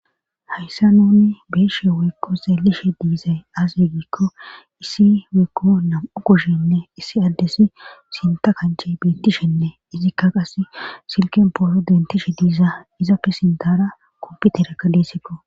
Hayssa nuni beeshe weykko zaelishe diizay azegikko issi weykko nam'u kushenne issi aldesi sinta kanche beettishenne izikka qas silken poolo dentishe diiza izapfe sintara komputerakka deessikko.